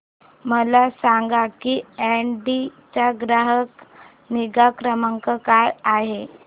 मला सांग की ऑडी चा ग्राहक निगा क्रमांक काय आहे